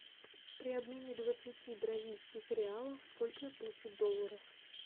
при обмене двадцати бразильских реалов сколько я получу долларов